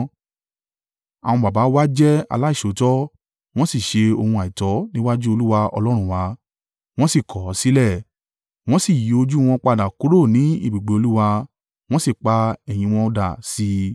Àwọn baba wa jẹ́ aláìṣòótọ́; wọ́n sì ṣe ohun àìtọ́ níwájú Olúwa Ọlọ́run wa, wọ́n sì kọ̀ ọ́ sílẹ̀. Wọ́n sì yí ojú wọn padà kúrò ní ibùgbé Olúwa, wọ́n sì pa ẹ̀yìn wọn dà sí i.